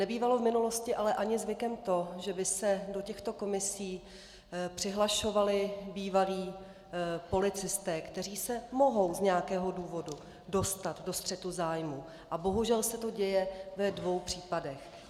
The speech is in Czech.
Nebývalo v minulosti ale ani zvykem to, že by se do těchto komisí přihlašovali bývalí policisté, kteří se mohou z nějakého důvodu dostat do střetu zájmů, a bohužel se to děje ve dvou případech.